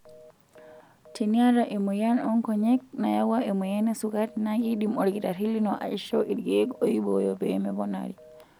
Teniata emoyian oonkonyek nayawua emoyian esukari naa keidim olkitarri lino aishoo ilkeek oibooyo pee meponari.